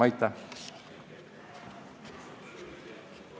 Aitäh!